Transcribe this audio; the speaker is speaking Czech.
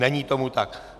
Není tomu tak.